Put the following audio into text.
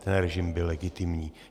Ten režim byl legitimní."